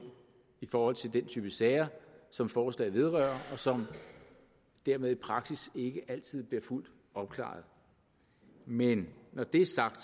i forhold til den type sager som forslaget vedrører og som dermed i praksis ikke altid bliver fuldt opklaret men når det er sagt